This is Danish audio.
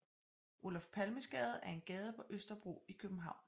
Olof Palmes Gade er en gade på Østerbro i København